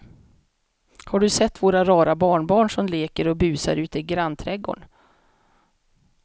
Har du sett våra rara barnbarn som leker och busar ute i grannträdgården!